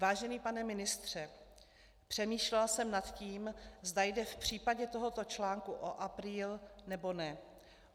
Vážený pane ministře, přemýšlela jsem nad tím, zda jde v případě tohoto článku o apríl, nebo ne.